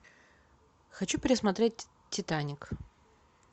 хочу пересмотреть титаник